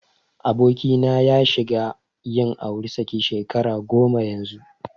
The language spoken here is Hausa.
Abokina ya shiga yin auri saki shekara goma yanzu.